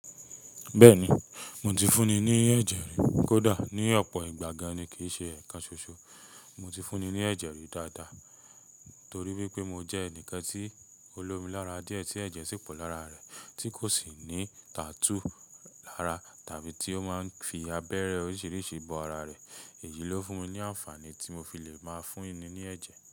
Bẹ́ẹ̀ni, mo ti fúnni ní ẹ̀jẹ̀ rí, kódà ní ọ̀pọ̀ ìgbà gan-an kì í ṣe ẹ̀ẹ̀kan ṣoṣo. Mo ti fún ni ní ẹ̀jẹ̀ rí dáadáa torí wípé mo jẹ́ ẹni kan tí o lómi lára díẹ̀ tí ẹ̀jẹ̀ sì pọ̀ lára rẹ̀ tí kò sì ní tattoo lára tàbí tí ó máa ń fi abẹ́rẹ́ oríṣiríṣi bọ ara rẹ̀. Èyí ló fún mi ní àǹfààní tí mo fi lè máa fún ni ní ẹ̀jẹ̀